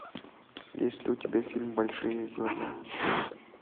есть ли у тебя фильм большие глаза